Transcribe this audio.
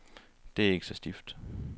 Det er ikke så stift.